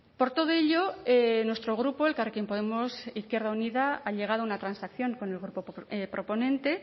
por todo ello nuestro grupo elkarrekin podemos izquierda unida ha llegado a una transacción con el grupo proponente